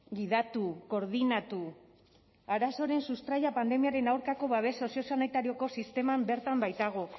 gidatu koordinatu arazoaren sustraia pandemiaren aurkako babes soziosanitarioko sisteman bertan baitago